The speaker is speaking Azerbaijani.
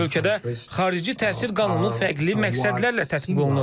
Hələ ki, ölkədə xarici təsir qanunu fərqli məqsədlərlə tətbiq olunur.